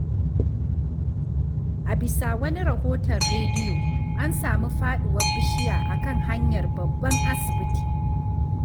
A bisa wani rahoton rediyo, an sami faɗuwar bishiya a kan hanyar babban asibiti.